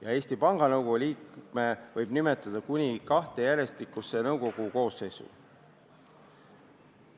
ja Eesti Panga Nõukogu liikme võib ametisse nimetada kuni kahte järjestikusesse nõukogu koosseisu.